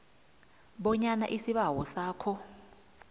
bonyana isibawo sakho